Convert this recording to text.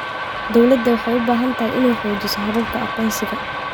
Dawladdu waxay u baahan tahay inay xoojiso hababka aqoonsiga.